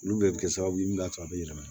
Olu bɛɛ bɛ kɛ sababu ye min b'a to a bɛ yɛlɛma